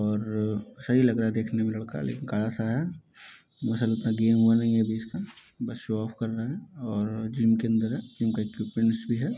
और सही लग रहा है देखने में लड़का लेकिन काला सा है मसल इतना गेन हुआ नहीं है इसका बस शो ऑफ कर रहा है और जिम के अंदर है जिम के इक्विपमेंट्स भी है --